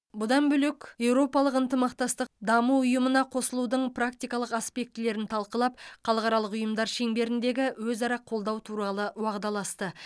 бұдан бөлек еуропалық ынтымақтастық даму ұйымына қосылудың практикалық аспектілерін талқылап халықаралық ұйымдар шеңберіндегі өзара қолдау туралы уағдаласты